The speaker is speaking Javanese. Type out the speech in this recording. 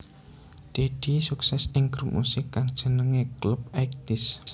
Deddy sukses ing grup musik kang jenengé Clubeighties